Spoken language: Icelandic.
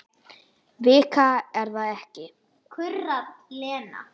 Vika er það ekki?